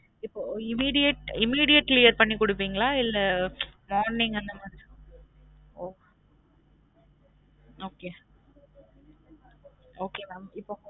இப்ப immediate immediate clear பண்ணி குடுப்பிங்களா இல்ல ச் warning அந்த மாறி ஒ okay okay mam இப்